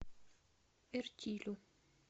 эртилю